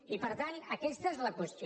i per tant aquesta és la qüestió